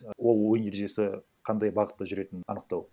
ол ойын ережесі қандай бағытта жүретінін анықтау